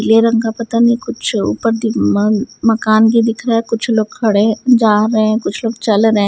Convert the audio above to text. यह रंग का पता नहीं कुछ ऊपर दि मान मकान ये दिख रहा है कुछ लोग खड़े जा रहे हैं कुछ लोग चल रहे हैं।